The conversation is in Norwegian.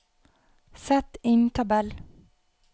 Sett inn tabell